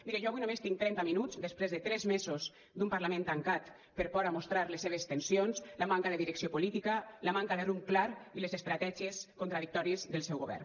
mire jo avui només tinc trenta minuts després de tres mesos d’un parlament tancat per por a mostrar les seves tensions la manca de direcció política la manca de rumb clar i les estratègies contradictòries del seu govern